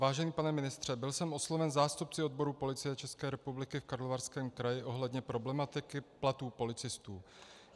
Vážený pane ministře, byl jsem osloven zástupci odborů Policie České republiky v Karlovarském kraji ohledně problematiky platů policistů.